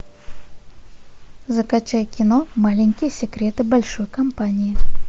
закачай кино маленькие секреты большой компании